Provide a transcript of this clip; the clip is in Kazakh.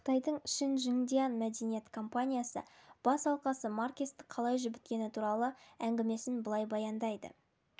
қытайдың шин жиңдиян мәдениет компаниясының бас алқасы маркесті қалай жібіткені туралы әңгімесін былай баяндайды жылы